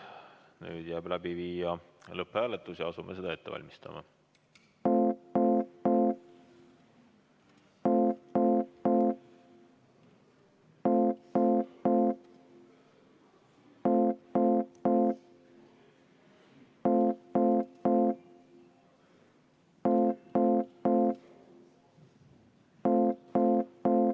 Jääb üle läbi viia lõpphääletus ja asumegi seda ette valmistama.